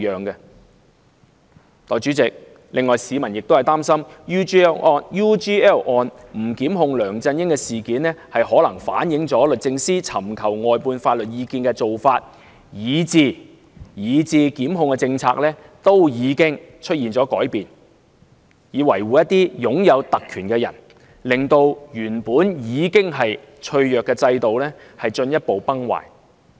代理主席，市民亦擔心，不檢控梁振英的決定可能反映律政司在尋求外判法律意見方面，以至檢控政策均已出現改變，以維護一些擁有特權的人物，令原本已經脆弱的制度，進一步崩壞。